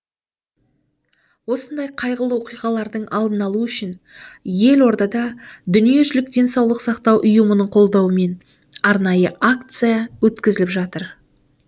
осындай қайғылы оқиғалардың алдын алу үшін елордада дүниежүзілік денсаулық сақтау ұйымының қолдауымен арнайы акция өткізіліп жатыр